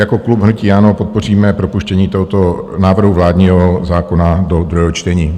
Jako klub hnutí ANO podpoříme propuštění tohoto návrhu vládního zákona do druhého čtení.